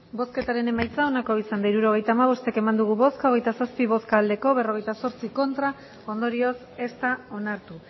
hirurogeita hamabost eman dugu bozka hogeita zazpi bai berrogeita zortzi ez ondorioz ez da onartu